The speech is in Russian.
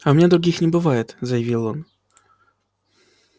а у меня других не бывает заявил он